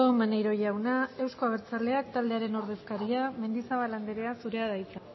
maneiro jauna euzko abertzaleak taldearen ordezkaria mendizabal andrea zurea da hitza